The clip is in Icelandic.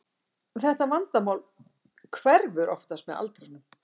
Þetta vandamál hverfur oftast með aldrinum.